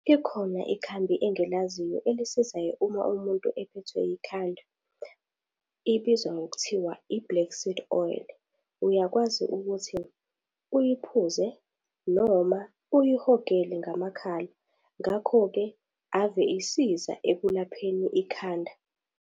Ikhona ikhambi engilaziyo elisizayo uma umuntu ephethwe ikhanda ibizwa ngokuthiwa i-black seed oil, uyakwazi ukuthi uyiphuze noma uyihogele ngamakhala. Ngakho-ke ave isiza ekulapheni ikhanda.